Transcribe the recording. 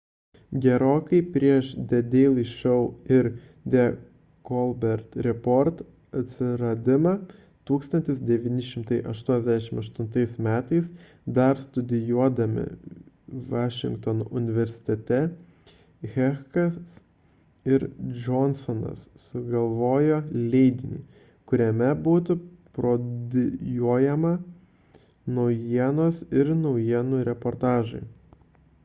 gerokai prieš the daily show ir the colbert report atsiradimą 1988 m. dar studijuodami vašingtono universitete heckas ir johnsonas sugalvojo leidinį kuriame būtų parodijuojamos naujienos ir naujienų reportažai